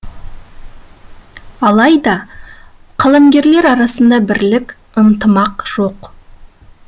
алайда қаламгерлер арасында бірлік ынтымақ жоқ